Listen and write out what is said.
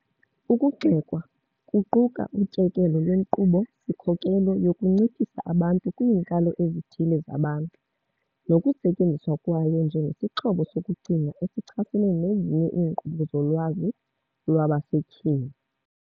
Ukugxekwa kuquka utyekelo lwenkqubo-sikhokelo yokunciphisa abantu kwiinkalo ezithile zabantu, nokusetyenziswa kwayo njengesixhobo sokucinga esichasene nezinye iinkqubo zolwazi lwabasetyhini.